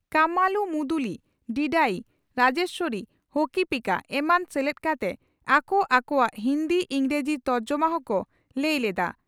ᱠᱟᱢᱟᱞᱩ ᱢᱩᱫᱩᱞᱤ (ᱰᱤᱰᱟᱭᱤ) ᱨᱟᱡᱮᱥᱣᱚᱨᱤ (ᱦᱚᱠᱤᱯᱤᱠᱟ) ᱮᱢᱟᱱ ᱥᱮᱞᱮᱫ ᱠᱟᱛᱮ ᱟᱠᱚ ᱟᱠᱚᱣᱟᱜ ᱦᱤᱱᱫᱤ/ᱤᱸᱜᱽᱨᱟᱹᱡᱤ ᱛᱚᱨᱡᱚᱢᱟ ᱦᱚᱸᱠᱚ ᱞᱟᱹᱭ ᱞᱮᱫᱼᱟ ᱾